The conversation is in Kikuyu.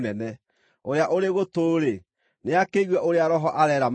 Ũrĩa ũrĩ gũtũ-rĩ, nĩakĩigue ũrĩa Roho areera makanitha.”